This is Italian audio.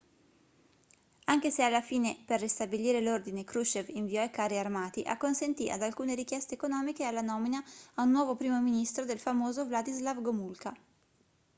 anche se alla fine per ristabilire l'ordine krushchev inviò i carri armati acconsentì ad alcune richieste economiche e alla nomina a nuovo primo ministro del famoso wladyslaw gomulka